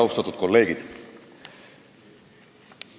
Austatud kolleegid!